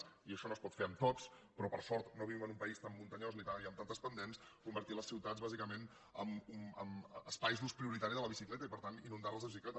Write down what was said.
i això no es pot fer en tots però per sort no vivim en un país tan muntanyós ni amb tantes pendents convertir les ciutats bàsicament en espais d’ús prioritari de la bicicleta i per tant inundar les de bicicletes